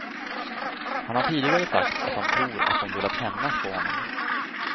Han har tidigare sagt att han tror att de velat hämnas på honom.